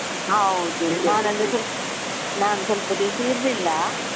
ಹೌದು. ನಾನ್ ಸ್ವಲ್ಪ ದಿವ್ಸ ಇರ್ಲಿಲ್ಲ.